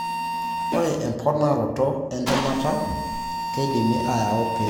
Emponaroto entemata keidimi ayau pee eretu eyiolounoto.